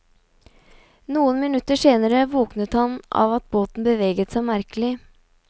Noen minutter senere våknet han av at båten beveget seg merkelig.